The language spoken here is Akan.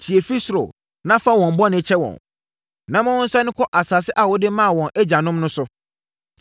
tie firi soro, na fa wɔn bɔne kyɛ wɔn, na ma wɔnsane nkɔ asase a wode maa wɔn agyanom no so.